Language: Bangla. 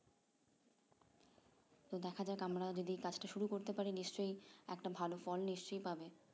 তো দেখা যাক আমরাও যদি কাজটা শুরু করতে পারি নিশ্চয় একটা ভালো ফল নিশ্চয় পাবো